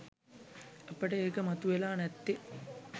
අපට ඒක මතුවෙලා නැත්තේ